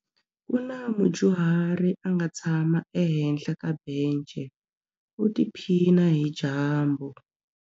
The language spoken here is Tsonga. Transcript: Ku na mudyuhari a nga tshama ehenhla ka bence u tiphina hi dyambu.